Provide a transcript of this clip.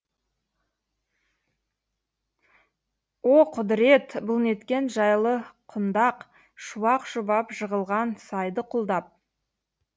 о құдірет бұл неткен жайлы құндақ шуақ шұбап жығылған сайды құлдап